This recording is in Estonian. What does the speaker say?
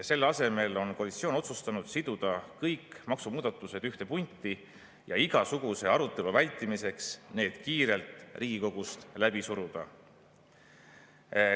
Selle asemel on koalitsioon otsustanud siduda kõik maksumuudatused ühte punti ja igasuguse arutelu vältimiseks need kiirelt Riigikogust läbi suruda.